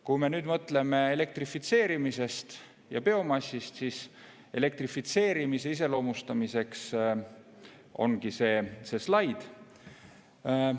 Kui me nüüd mõtleme elektrifitseerimisest ja biomassist, siis elektrifitseerimise iseloomustamiseks on see slaid siin.